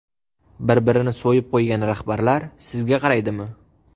Bir-birini so‘yib qo‘ygan rahbarlar sizga qaraydimi?